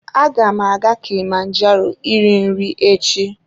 Aga m aga kilimanjaro iri nri echi.